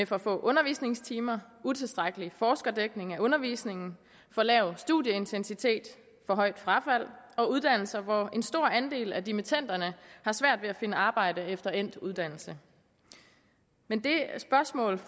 for få undervisningstimer utilstrækkelig forskerdækning af undervisningen for lav studieintensitet for højt frafald og uddannelser hvor stor en andel af dimittenderne har svært ved at finde arbejde efter endt uddannelse men det spørgsmål